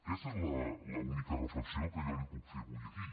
aquesta és l’única reflexió que jo li puc fer avui aquí